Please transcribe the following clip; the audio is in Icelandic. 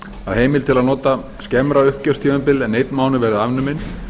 að heimild til að nota skemmra uppgjörstímabil en einn mánuð verði afnumin